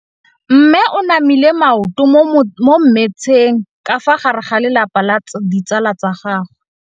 Mme o namile maoto mo mmetseng ka fa gare ga lelapa le ditsala tsa gagwe.